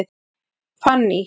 Fanný